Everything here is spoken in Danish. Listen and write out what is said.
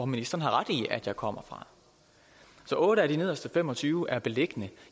ministeren har ret i at jeg kommer fra så otte af de nederste fem og tyve er beliggende